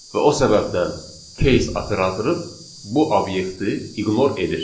Və o səbəbdən case operatoru bu obyekti ignore edir.